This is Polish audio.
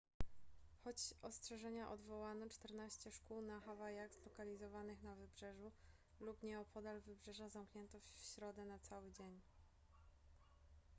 choć ostrzeżenia odwołano czternaście szkół na hawajach zlokalizowanych na wybrzeżu lub nieopodal wybrzeża zamknięto w środę na cały dzień